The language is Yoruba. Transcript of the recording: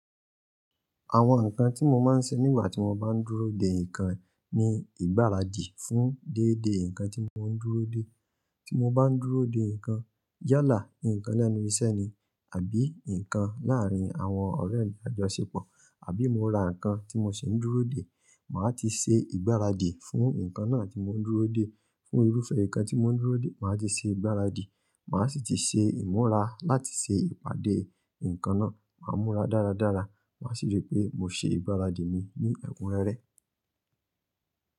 Àwọn nǹkan tí mo máa ń ṣe nígbà tí mo bá ń dúró de nǹkan ni ìgbáradì fún déédé nǹkan tí mo ń dúró de. Tí mo báa ń dúró de ǹkan, yálà ǹkan lẹ́nu iṣẹ́ ni àbí ǹkan lárín àwọn ọ̀rẹ́ mi tá jọ ṣepọ̀ àbí mo ra ǹkan tí mo sì ń dúró de màá ti ṣe ìgbáradì fún ǹkan náà tí mo ń dúró de fún irúfẹ́ nǹkan tí mo ń dúró de, màá ti ṣe ìgbáradì, màá sì ti ṣe ìmúra láti ṣe ìpàdé nǹkan náà. Màá múra dáradára. Màá sì rí pé mo ṣe ìgbáradì mi ní ẹ̀kún rẹ́rẹ́.